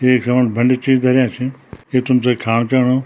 एक समणी बंड्या चीज धरयां छी ये तुम्थे खान चियांणु।